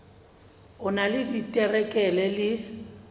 o na le diterekere le